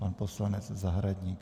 Pan poslanec Zahradník.